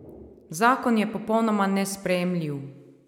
Zakon je popolnoma nesprejemljiv.